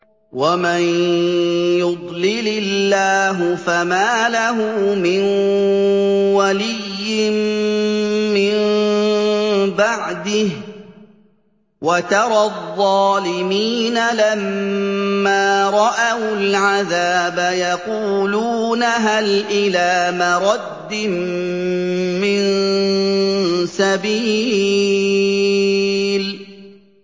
وَمَن يُضْلِلِ اللَّهُ فَمَا لَهُ مِن وَلِيٍّ مِّن بَعْدِهِ ۗ وَتَرَى الظَّالِمِينَ لَمَّا رَأَوُا الْعَذَابَ يَقُولُونَ هَلْ إِلَىٰ مَرَدٍّ مِّن سَبِيلٍ